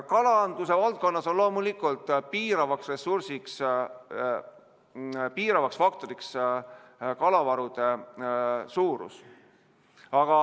Kalanduse valdkonnas on loomulikult piiravaks ressursiks, piiravaks faktoriks kalavarude suurus.